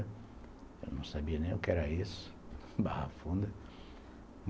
Eu não sabia nem o que era isso, Barra Funda.